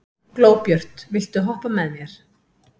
Glóbjört, viltu hoppa með mér?